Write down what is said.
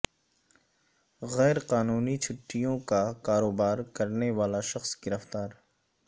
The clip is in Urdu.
غیر قانونی چٹھیوں کا کاروبار کرنے والا شخص گرفتار